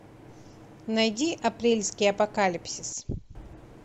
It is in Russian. найди апрельский апокалипсис